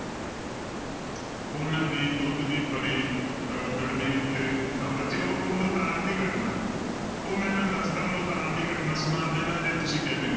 ਉਹਨਾਂ ਦੀ ਦੁੱਧ ਦੀ ਭਰੀ ਅਹ ਗੜਬੀ ਉੱਤੇ ਬੱਚਿਓ ਉਹ ਮੁਲਤਾਨ ਦੀ ਘਟਨਾ ਹੈ, ਉਹ ਮੈਂ ਤੁਹਾਨੂੰ ਦੱਸਦਾਂ ਮੁਲਤਾਨ ਦੀ ਘਟਨਾ ਸੁਣਾ ਦਿਨਾ ਜੇ ਤੁਸੀਂ ਕਹਿੰਦੇ ਹੋ,